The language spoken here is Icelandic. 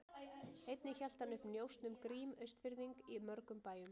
Einnig hélt hann uppi njósn um Grím Austfirðing í mörgum bæjum.